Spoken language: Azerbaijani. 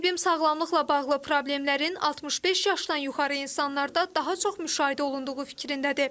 Müsahibim sağlamlıqla bağlı problemlərin 65 yaşdan yuxarı insanlarda daha çox müşahidə olunduğu fikrindədir.